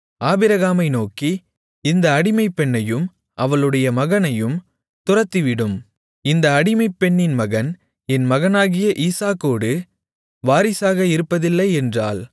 ஆபிரகாமை நோக்கி இந்த அடிமைப்பெண்ணையும் அவளுடைய மகனையும் துரத்திவிடும் இந்த அடிமைப்பெண்ணின் மகன் என் மகனாகிய ஈசாக்கோடு வாரிசாக இருப்பதில்லை என்றாள்